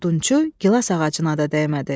Odunçu gilaz ağacına da dəymədi.